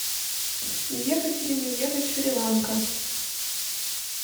ехать или не ехать шри ланка